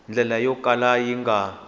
ndlela yo kala yi nga